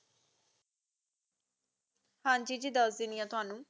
ਹਾਂਜੀ ਜੀ ਦੱਸਦੇਣੀ ਤੈਨੂ